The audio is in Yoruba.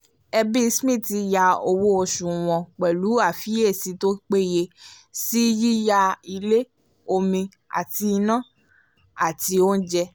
ẹbí smith yà owó oṣù wọn pẹ̀lú àfiyèsí tó péye sí yíyà ilé omi àti iná àti oúnjẹ